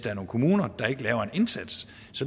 er nogle kommuner der ikke laver en indsats